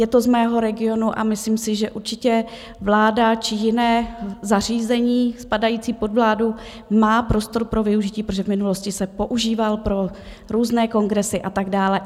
Je to z mého regionu a myslím si, že určitě vláda či jiné zařízení spadající pod vládu má prostor pro využití, protože v minulosti se používal pro různé kongresy a tak dále.